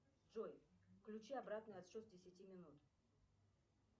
джой включи обратный отсчет с десяти минут